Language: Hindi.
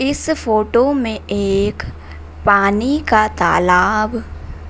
इस फोटो में एक पानी का तालाब